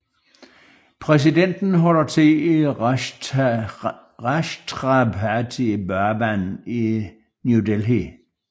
Præsidenten holder til i Rashtrapati Bhavan i New Delhi